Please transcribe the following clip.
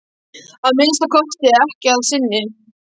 Að minnsta kosti ekki að sinni.